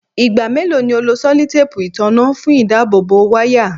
Igba melo ni o lo sellotape itanna fun idabobo waya?